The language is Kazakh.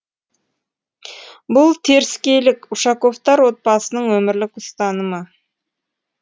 бұл теріскейлік ушаковтар отбасының өмірлік ұстанымы